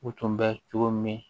U tun bɛ cogo min